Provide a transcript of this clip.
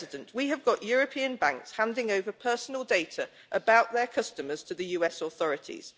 We have got European banks handing over personal data about their customers to the US authorities.